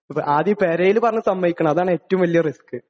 ആദ്യം പെരേല് പറഞ്ഞ് സമ്മതിക്കണം, അതാണ് ഏറ്റവും വലിയ റിസ്ക്.